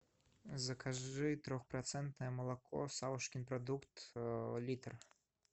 закажи трехпроцентное молоко савушкин продукт литр